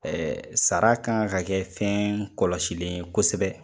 Sara kan ka kɛ fɛn kɔlɔsilen ye kosɛbɛ,